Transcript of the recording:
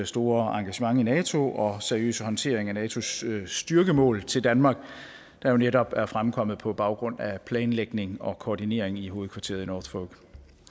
store engagement i nato og seriøse håndtering af natos styrkemål til danmark der netop er fremkommet på baggrund af planlægning og koordinering i hovedkvarteret i norfolk